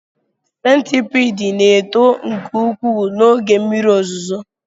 Centipede na-eto nke ukwuu n'oge mmiri ozuzo